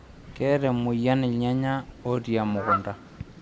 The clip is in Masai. Keeta emoyian ilnyanya otii emukunta